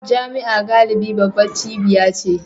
Jami'a galibi babbar cibiya ce